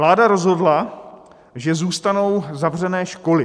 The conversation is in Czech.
Vláda rozhodla, že zůstanou zavřené školy.